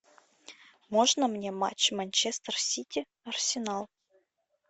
можно мне матч манчестер сити арсенал